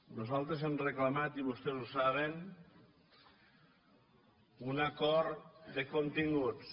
nosaltres hem reclamat i vostès ho saben un acord de continguts